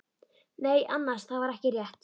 Nei annars, það var ekki rétt.